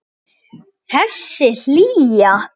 Og þessi hlýja.